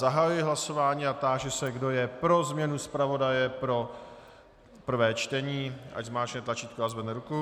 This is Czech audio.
Zahajuji hlasování a táži se, kdo je pro změnu zpravodaje pro prvé čtení, ať zmáčkne tlačítko a zvedne ruku.